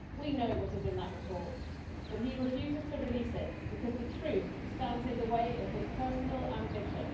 We know what is in that report, but he refuses to release it because the truth stands in the way of his personal ambition.